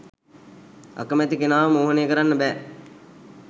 අකමැති කෙනාව මෝහනය කරන්න බැහැ